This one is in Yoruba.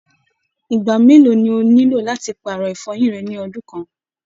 Ìgbà mélòó ní o nílò làti paarọ ifọyin rẹ ni ọdun kan?